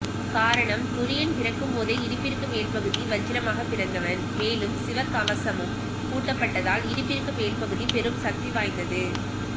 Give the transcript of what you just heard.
காரணம் துரியன் பிறக்கும்போதே இடுப்பிற்கு மேல்பகுதி வஜ்ரமாகப் பிறந்தவன் மேலும் சிவகவசமும் பூட்டப்பட்டதால் இடுப்பிற்கு மேல்பகுதி பெரும் சக்திவாய்ந்தது